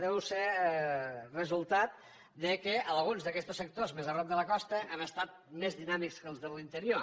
deu ser resultat que alguns d’aquests sectors més a prop de la costa han estat més dinàmics que els de l’interior